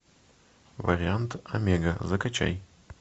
вариант омега закачай